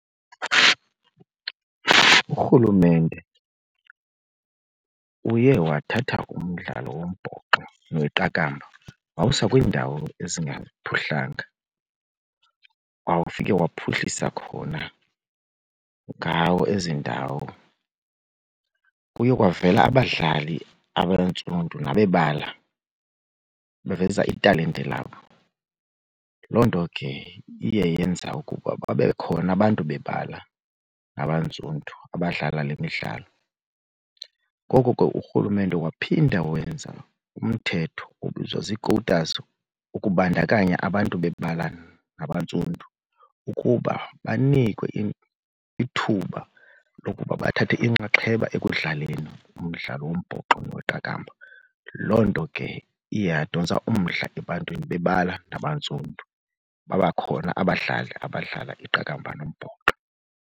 Urhulumente uye wathatha umdlalo wombhoxo neqakamba wawuswa kwiindawo ezingaphuhlanga, wawufike wawuphuhlisa khona ngawo ezi ndawo. Kuye kwavela abadlali abantsundu, bebala, baveza italente labo, loo nto ke iye yenza ukuba babekhona abantu bebala nabantsundu abadlala le midlalo. Ngoko ke urhulumente waphinda wenza umthetho obizwa zii-quotas ukubandakanya abantu bebala nabantsundu ukuba banikwe ithuba lokuba bathathe inxaxheba ekudlaleni umdlalo wombhoxo neqakamba. Loo nto ke iye yadontsa umdla ebantwini bebala nabantsundu babakhona abadlali abadlala iqakamba nombhoxo.